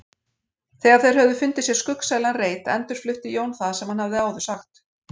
Þegar þeir höfðu fundið sér skuggsælan reit endurflutti Jón það sem hann hafði áður sagt.